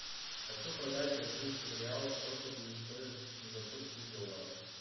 хочу продать бразильский реал сколько будет стоить в сингапурских долларах